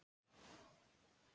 En hvað á hún við?